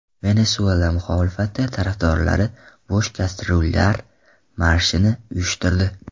Venesuela muxolifati tarafdorlari bo‘sh kastryullar marshini uyushtirdi.